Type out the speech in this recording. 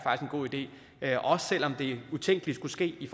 en god idé og selv om det utænkelige skulle ske i